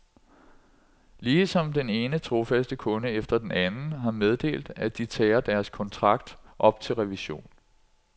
Ligesom den ene trofaste kunde efter den anden har meddelt, at de tager deres kontrakt op til revision.